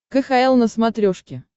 кхл на смотрешке